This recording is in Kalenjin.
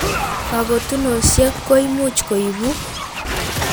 kakotunosiek koimuch koibu